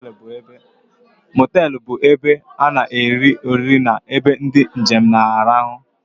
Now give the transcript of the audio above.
Motelú bụ ebe ana eri oriri na-ebe ndị njem na-arahu.